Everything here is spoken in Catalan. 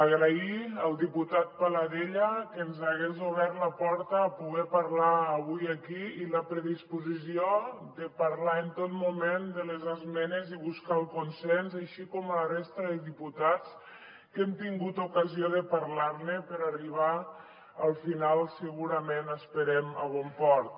agrair al diputat paladella que ens hagués obert la porta a poder parlar avui aquí i la predisposició de parlar en tot moment de les esmenes i buscar el consens així com a la resta de diputats amb qui hem tingut ocasió de parlar ne per arribar al final segurament esperem a bon port